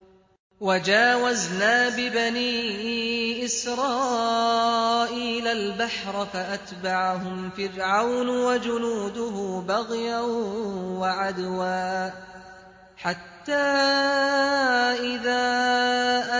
۞ وَجَاوَزْنَا بِبَنِي إِسْرَائِيلَ الْبَحْرَ فَأَتْبَعَهُمْ فِرْعَوْنُ وَجُنُودُهُ بَغْيًا وَعَدْوًا ۖ حَتَّىٰ إِذَا